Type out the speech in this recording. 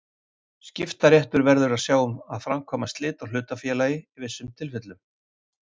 Skiptaréttur verður að sjá um að framkvæma slit á hlutafélagi í vissum tilvikum.